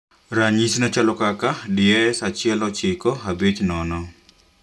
Mfwano ne chalo kaka DS 1950